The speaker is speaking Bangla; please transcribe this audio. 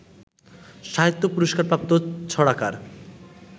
সাহিত্য পুরস্কারপ্রাপ্ত ছড়াকার